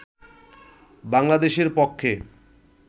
বাংলাদেশের পক্ষে